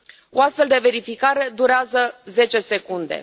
O astfel de verificare durează zece secunde.